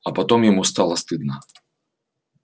а потом ему стало стыдно